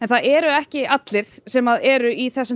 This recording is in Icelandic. það eru ekki allir sem eru í þessum